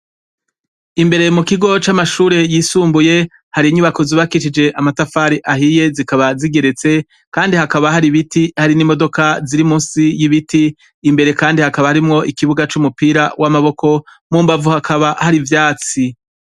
Imbere mu kigo c'amashure yisumbuye hari inyubako zubakishije amatafari ahiye zikaba zigeretse, kandi hakaba hari ibiti hari n'imodoka ziri munsi y'ibiti. Imbere kandi hakaba harimwo ikibuga c'umupira w'amaboko, mu mbavu hakaba hari ivyatsi.